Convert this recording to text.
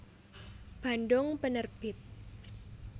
Bandung Penerbit